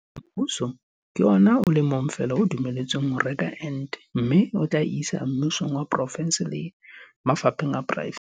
Mmuso ke ona o le mong fela o dumelletsweng ho reka ente mme o tla e isa mmusong wa porofense le mafapheng a poraefete.